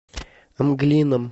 мглином